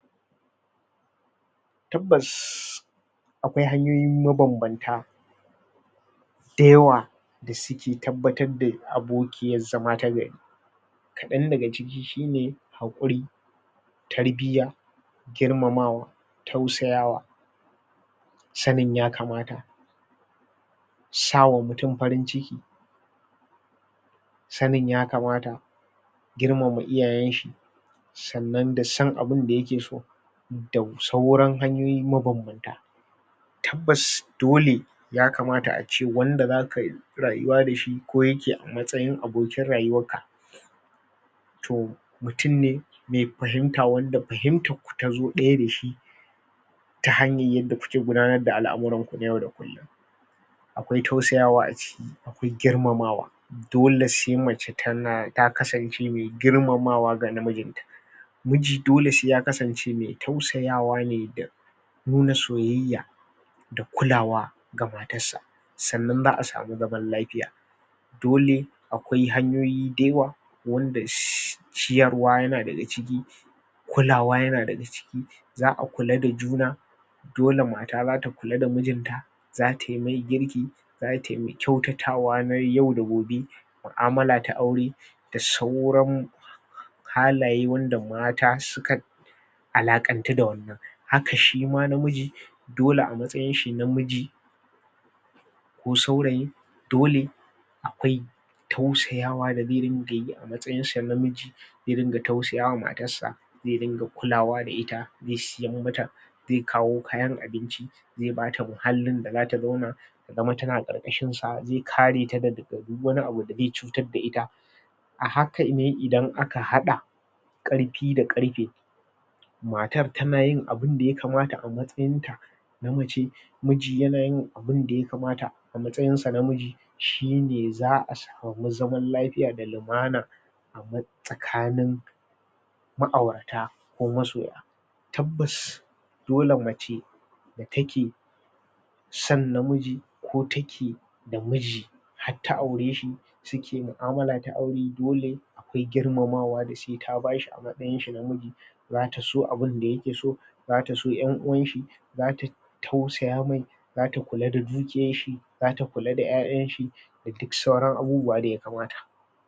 tabbas akwai hanyoyi maban-banta dayawa da suke tabbatar da abokiyar zama ta gari kadan daga ciki shine hakuri tarbiya girmamawa tausayawa sanin yakamata sawa mutum farin ciki sanin yakamata girmama iyayenshi sannan da shan abun da yake so da sayran hanyoyi maban-banta tabbas dole yakamta ace wanda zakayi rayuwa dashi ko yake a matsayin abokin rayuwar ka to mutum ne me fahimta wanda fahimtar ku ta zo daya da shi ta hanyar yadda kuke gudanar da alamuranku na yau da kullum akwai tausayawa aciki akwai girmamawa dole se mace tana takasance me girmamawa ga na mijiin ta miji dole se yakasance me tausayawa ne da nuna soyayya da kulawa ga matar sa sannan za'a samu zaman lafiya dole akwai hanyoyi dayawa wanda ciyarwa yana daga ciki kulawa yana daga ciki za'a kula da juna dole mata zata kula da miin ta za taimai girki zataimai kyautatawa na yau da gobe mu'amala ta aure da sauran halaye wanda mata suka fi alakantu da wannan haka shima na miji dole a matsayin shi na miji ko saurayi dole akwai tausayawa da ze ringa yi a matsayinsa na namiji ze ringa tausayawa matarsa ze ringa kulawa da ita ze siyan mata ze kawo kayan abinci ze bata muhallin da zata zauna yazama tana karkashin sa ze kare taga taga duk wani abu da ze cutar da ita a hakane idan aka hada karfi da karfe matar tanayin abun daya kamata a matsayin ta na mace miji yana yin abun da yakamata a matsayin sa na miji shine za'a samu zaman lafiya da lumana a tsakanin ma'aurata kuma masoya tabbas dole mace take son namiji ko take da miji har ta aureshi suke mu'amala ta aure dole akwai girmamawa da sai ta bashi amatsayinsa na miji zata so abun dayake so zata so yan'uwanshi zata tausaya mai zata kula da dukiyar shi zata kula da ya'yanshi da sauran abubuwa da yakamata.